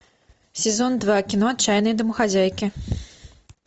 сезон два кино отчаянные домохозяйки